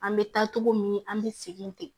An bɛ taa togo min an bɛ segin ten